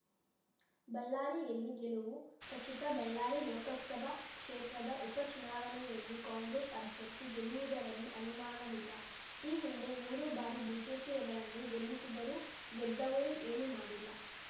ಬಳ್ಳಾರಿಯಲ್ಲಿ ಗೆಲುವು ಖಚಿತ ಬಳ್ಳಾರಿ ಲೋಕಸಭಾ ಕ್ಷೇತ್ರದ ಉಪ ಚುನಾವಣೆಯಲ್ಲಿ ಕಾಂಗ್ರೆಸ್‌ ಅಭ್ಯರ್ಥಿ ಗೆಲ್ಲುವುದರಲ್ಲಿ ಅನುಮಾನವಿಲ್ಲ ಈ ಹಿಂದೆ ಮೂರು ಬಾರಿ ಬಿಜೆಪಿಯವರನ್ನು ಗೆಲ್ಲಿಸಿದರೂ ಗೆದ್ದವರು ಏನು ಮಾಡಿಲ್ಲ